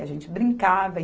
A gente brincava.